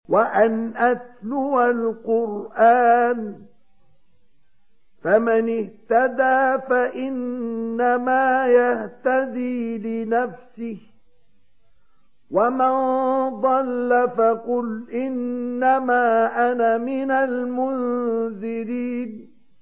وَأَنْ أَتْلُوَ الْقُرْآنَ ۖ فَمَنِ اهْتَدَىٰ فَإِنَّمَا يَهْتَدِي لِنَفْسِهِ ۖ وَمَن ضَلَّ فَقُلْ إِنَّمَا أَنَا مِنَ الْمُنذِرِينَ